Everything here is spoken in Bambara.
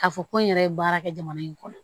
K'a fɔ ko n yɛrɛ ye baara kɛ jamana in kɔnɔ